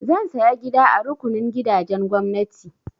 Zan saya gida a rukunin gidajen gwamnati.